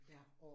Ja